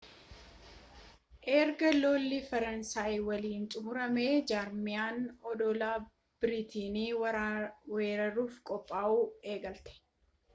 erga lolli faransaayii waliinii xumuramee jarmaniin odola biriiteen weeraruuf qophaa'uu eegalte